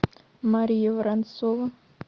мария воронцова